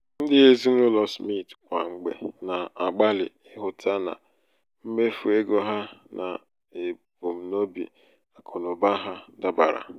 ndị ezinaụlọ smith kwa mgbe na-agbalị ịhụta na mmefu ego ha na ebumnobi akụnaụba ha dabara.